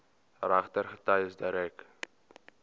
regter getuies direk